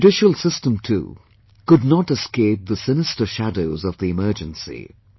The judicial system too could not escape the sinister shadows of the Emergency